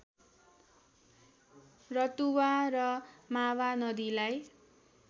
रतुवा र मावा नदीलाई